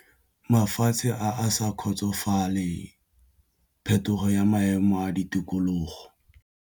Mafatshe a sa kgotsofalele phetogo ya maemo a ditikologo.